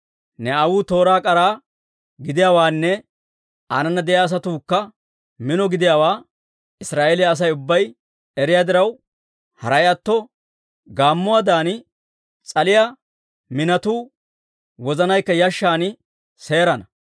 Ne aawuu tooraa k'ara gidiyaawaanne aanana de'iyaa asatuukka mino gidiyaawaa Israa'eeliyaa Asay ubbay eriyaa diraw, haray atto gaammuwaadan s'aliyaa minotuu wozanaykka yashshan seerana.